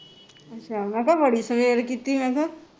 ਅੱਛਾ ਮੈਂ ਕਿਹਾ ਬੜੀ ਕੀਤੀ ਮੈਂ ਕਿਹਾ